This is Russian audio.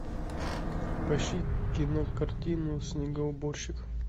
поищи кинокартину снегоуборщик